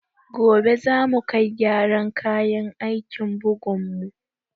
Gobe za mu kai gyaran kayan aikin bugun mu